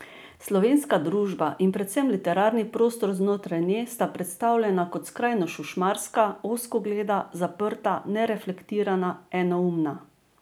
Slovenska družba in predvsem literarni prostor znotraj nje sta predstavljena kot skrajno šušmarska, ozkogleda, zaprta, nereflektirana, enoumna.